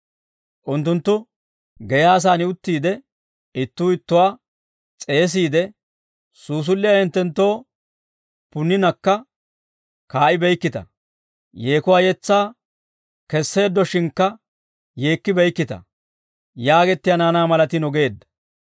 Unttunttu geyaasan uttiide ittuu ittuwaa s'eesiide, ‹Suusulliyaa hinttenttoo punninakka kaa'ibeykkita; yeekuwaa yetsaa kesseeddoshshinkka yeekkibeykkita yaagettiyaa naanaa malatiino› geedda.